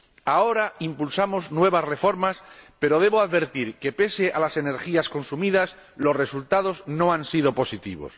Ahora impulsamos nuevas reformas, pero debo advertir que, pese a las energías consumidas, los resultados no han sido positivos.